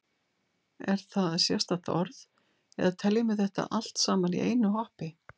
Er það sérstakt orð eða teljum við þetta allt saman í einu hoppi?